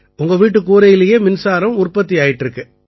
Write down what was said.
உங்க வீட்டுக் கூரையிலேயே மின்சாரம் உற்பத்தி ஆயிட்டு இருக்கு